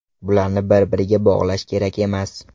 Bularni bir-biriga bog‘lash kerak emas”.